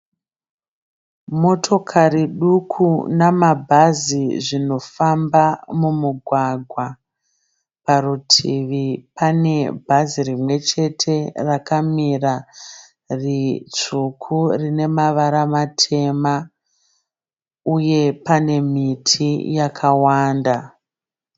Motokari duku namabhazi zvinofamba mumugwagwa. Parutivi panebhazi rimwechete rakamira ritsvuku rinemavara matema uye panemiti yakawanda.